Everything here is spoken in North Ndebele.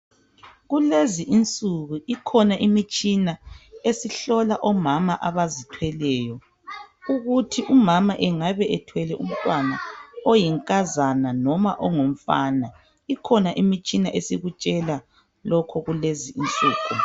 Kulezi insuku ikhona imitshina esihlola omama abazithweleyo ukuthi umama engabe ethwele umntwana oyinkazana noma ongumfana, ikhona imitshina esikutshela lokho kulezi insuku.